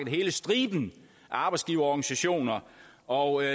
af hele striben af arbejdsgiverorganisationer og